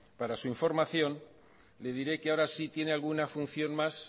para su información le diré que ahora sí tiene alguna función más